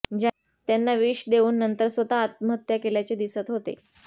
त्यांना विष देऊन नंतर स्वतः आत्महत्या केल्याचे दिसत होते